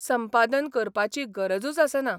संपादन करपाची गरजूच आसना.